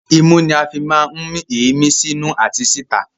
Imú ní a fí máa ń mí èémí sí inú àti sí ìta